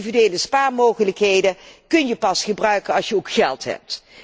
Individuele spaarmogelijkheden kun je pas gebruiken als je ook geld hebt.